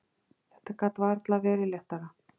Þetta gat varla verið léttara.